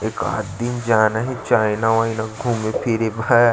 एकात दिन जाना हे चाइना वाईना में घूमे फिरे बर--